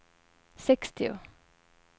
sextio